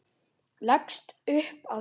Leggst upp að skugga sínum.